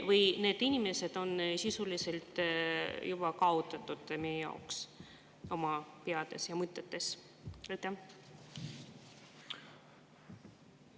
Või on need inimesed sisuliselt meie jaoks meie peades ja mõtetes juba kaotatud?